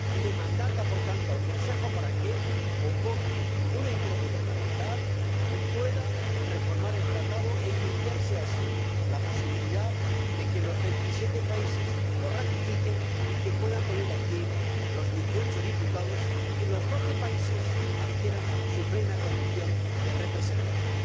Y mandata, por tanto, al Consejo para que convoque una Conferencia Intergubernamental y pueda reformar el Tratado, iniciándose así la posibilidad de que los 27 países lo ratifiquen, puedan venir aquí los 18 diputados y los 12 países adquieran su plena condición de representación.